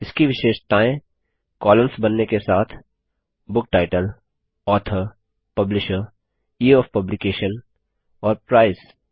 इसकी विशेषताएँ कॉलम्स बनने के साथ book title author publisher year of publication और प्राइस